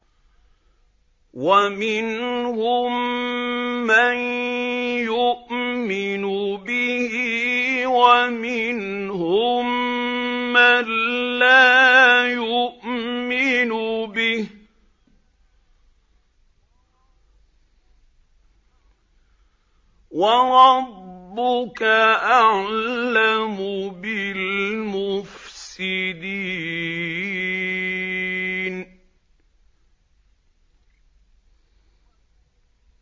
وَمِنْهُم مَّن يُؤْمِنُ بِهِ وَمِنْهُم مَّن لَّا يُؤْمِنُ بِهِ ۚ وَرَبُّكَ أَعْلَمُ بِالْمُفْسِدِينَ